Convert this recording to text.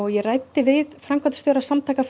ég ræddi við framkvæmdastjóra Samtaka